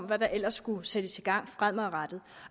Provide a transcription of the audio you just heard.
hvad der ellers skulle sættes i gang fremadrettet